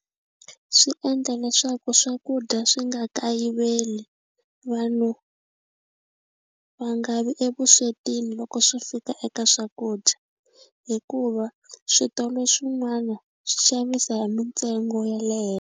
Swi endla leswaku swakudya swi nga kayiveli vanhu va nga vi evuswetini loko swi fika eka swakudya hikuva switolo swin'wana swi xavisa hi mintsengo ya .